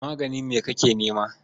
Maganin me kake nema?